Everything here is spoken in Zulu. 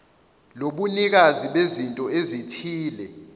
lobunikazi bezinto ezithile